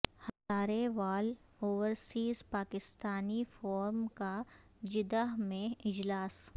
ہزارے وال overseas Pakistani forum کا Jeddah میں اجلاس